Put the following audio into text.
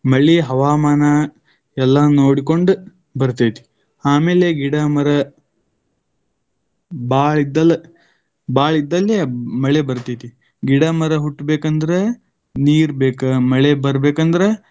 ಮಳಿ ಹವಾಮಾನ ಎಲ್ಲ ನೋಡಿಕೊಂಡು ಬರ್ತೈತಿ. ಆಮೇಲೆ ಗಿಡ ಮರ ಬಾಳ್ ಇದ್ದಲ್ ಭಾಳ್ ಇದ್ದಂಗೆ ಮಳೆ ಬರ್ತೈತಿ. ಗಿಡ ಮರ ಹುಟ್ಟಬೇಕಂದ್ರ ನೀರ್ ಬೇಕ . ಮಳೆ ಬರಬೇಕಂದ್ರ.